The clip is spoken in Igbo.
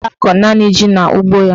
Ọ ga-akọ naanị ji n'ugbo ya.